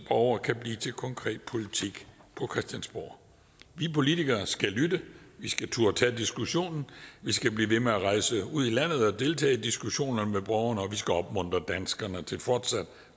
borger kan blive til konkret politik på christiansborg vi politikere skal lytte vi skal turde tage diskussionen vi skal blive ved med at rejse ud i landet og deltage i diskussionerne med borgerne og vi skal opmuntre danskerne til fortsat